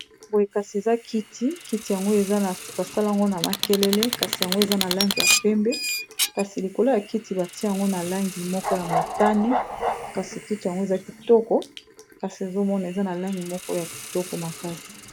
Boye kasi eza kiti kiti yango basali yango na makelele kasi yango eza na langi ya pembe kasi likolo ya kiti batia yango na langi moko ya motane kasi kiti yango eza kitoko kasi ezomona eza na langi moko ya kitoko makasi.